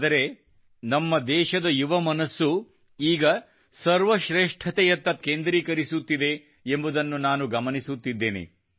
ಆದರೆ ನಮ್ಮ ದೇಶದ ಯುವಮನಸ್ಸು ಈಗ ಸರ್ವಶ್ರೇಷ್ಠತೆಯತ್ತ ತಮ್ಮನ್ನು ಕೇಂದ್ರೀಕರಿಸುತ್ತಿದೆ ಎಂಬುದನ್ನು ನಾನು ಗಮನಿಸುತ್ತಿದ್ದೇನೆ